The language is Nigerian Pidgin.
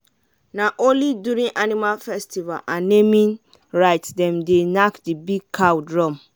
na only during animal festival and naming rites them dey knack the big cow drum.